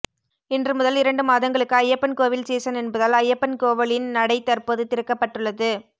இன்று முதல் இரண்டு மாதங்களுக்கு ஐயப்பன் கோவில் சீசன் என்பதால் ஐயப்பன் கோவிலின் நடை தற்போது திறக்கப்பட்டுள்ளது